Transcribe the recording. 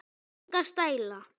Enga stæla